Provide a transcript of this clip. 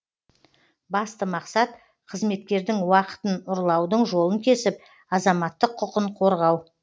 басты мақсат қызметкердің уақытын ұрлаудың жолын кесіп азаматтық құқын қорғау